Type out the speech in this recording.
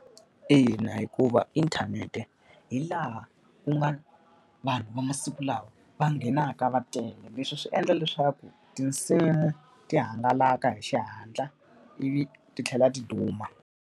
Ina, hikuva inthanete hi laha ku nga vanhu va masiku lawa va nghenaka va tele, leswi swi endla leswaku tinsimu ti hangalaka hi xihatla ivi ti tlhela ti duma.